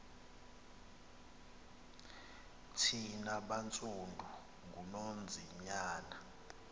thina bantsundu ngunonzinyana